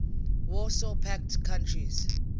warsaw pact countries